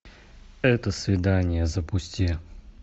это свидание запусти